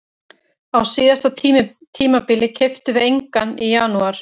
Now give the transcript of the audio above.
Á síðasta tímabili keyptum við engan í janúar.